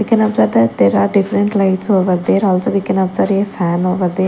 We can observe that there are different lights over there also we can observe a fan over there.